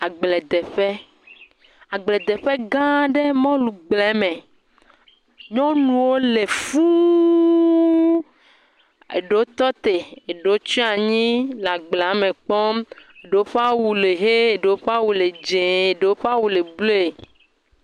Agbledeƒe. Agbedeƒe gã ɖe mɔlugble me. Nyɔnuwo le fũu. Eɖewo tɔ te. Eɖewo tsɔ anyi le agblea me kpɔm. Ɖowo ƒe awu le ʋie, ɖowo ƒe awu le dzie, ɖowo ƒe awu le blɔe.